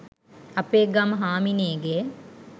අපේ ගම හාමිනේගේ